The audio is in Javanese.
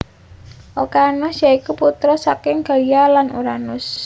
Okeanos ya iku putra saka Gaia lan Uranus